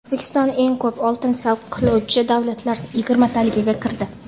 O‘zbekiston eng ko‘p oltin saqlovchi davlatlar yigirmataligiga kirdi.